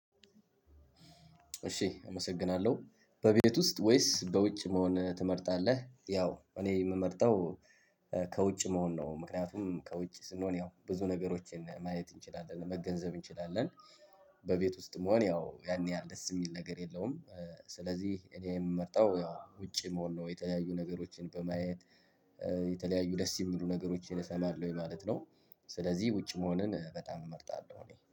እሺ አመሰግናለሁ በቤት ውስጥ ወይስ በውጭ መሆን ትመርጣለህ ያው እኔ የምመርጠው ከውጭ መሆን ነው ምክንያቱም ከውጭ ስንሆን ያው ብዙ ነገሮችን ማየት እንችላለን መገንዘብ እንችላለን። በቤት ውስጥ መሆን ያው ያን ያህል ደስ የሚል ነገር የለውም። ስለዚህ እኔ የምመርጠው ያው ውጭ መሆን ነው የተለያዩ ነገሮችን በማየት የተለያዩ ደስ የሚሉ ነገሮችን እሰማለሁ ወይ ማለት ነው። ስለዚህ ውጭ መሆንን በጣም እመርጣለሁ። እኔ